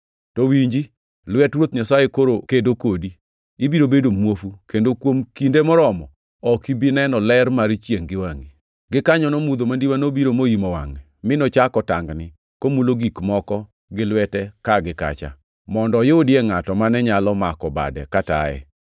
To winji, lwet Ruoth Nyasaye koro kedo kodi. Ibiro bedo muofu, kendo kuom kinde moromo ok ibi neno ler mar chiengʼ gi wangʼi.” Gikanyono mudho mandiwa nobiro moimo wangʼe, mi nochako tangni komulo gik moko gi lwete ka gi kacha, mondo oyudie ngʼato mane nyalo mako bade kataye.